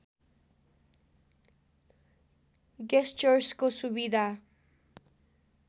गेस्चर्सको सुविधा